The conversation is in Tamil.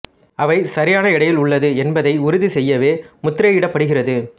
அவை சரியான எடையில் உள்ளது என்பதை உறுதி செய்யவே முத்திரையிடப்படுகிறது